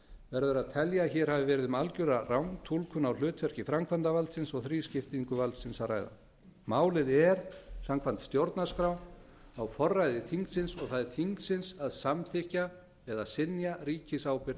verður að telja að hér hafi verið um algjöra rangtúlkun á hlutverki framkvæmdarvaldsins og þrískiptingu valdsins að ræða málið er samkvæmt stjórnarskrá á forræði þingsins og það er þingsins að samþykkja eða synja ríkisábyrgð